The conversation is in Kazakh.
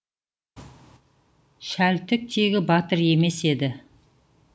шәлтік тегі батыр емес еді